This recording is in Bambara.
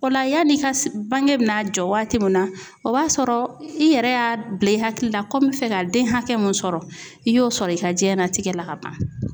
O la yanni i ka bange bɛna jɔ waati min na o b'a sɔrɔ i yɛrɛ y'a bila i hakili la ko n bɛ fɛ ka den hakɛ mun sɔrɔ i y'o sɔrɔ i ka jiyɛnlatigɛ la ka ban.